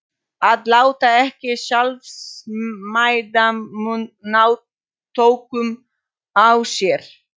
Að láta ekki sjálfsmeðaumkun ná tökum á sér.